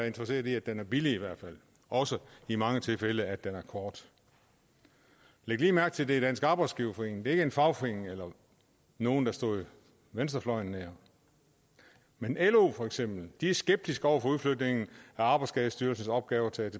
interesseret i at den er billig og også i mange tilfælde i at den er kort læg lige mærke til at det er dansk arbejdsgiverforening det er ikke en fagforening eller nogle der står venstrefløjen nær men lo for eksempel er skeptiske over for udflytningen af arbejdsskadestyrelsens opgaver til atp